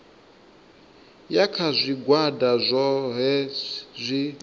ya kha zwigwada zwohe zwi